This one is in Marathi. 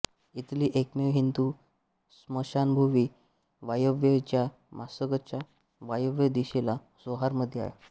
इथली एकमेव हिंदु स्मशानभूमी वायव्य च्या मस्कतच्या वायव्य दिशेला सोहार मध्ये आहे